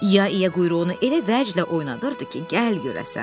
İya-İya quyruğunu elə vəclə oynadırdı ki, gəl görəsən.